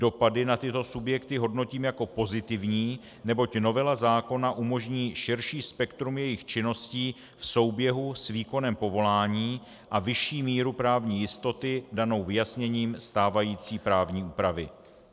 Dopady na tyto subjekty hodnotím jako pozitivní, neboť novela zákona umožní širší spektrum jejich činností v souběhu s výkonem povolání a vyšší míru právní jistoty danou vyjasněním stávající právní úpravy.